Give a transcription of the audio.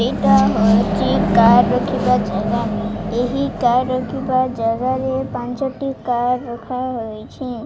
ଏଇଟା ହଉଚି କାର ରଖିବା ଜାଗା ଏହି କାର ରଖିବା ଜାଗା ରେ ପାଞ୍ଚ ଟି କାର ରଖା ହୋଇଛିଁ ।